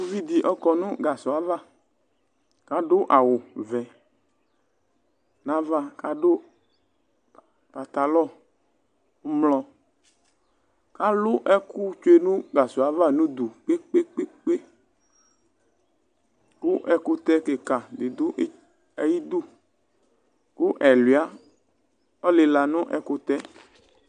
uvi di ɔkɔ no gasɔ ava k'ado awu vɛ n'ava k'ado pantalɔ ublɔ alo ɛkò tsue no gasɔɛ ava n'udu kpekpekpe kò ɛkutɛ keka di do ayidu kò ɛluia ɔlela no ɛkutɛ